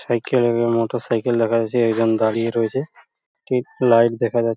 cycle -এর motorcycle দেখা যাচ্ছে | একজন দাঁড়িয়ে রয়েছে একটি লাইট দেখা যা--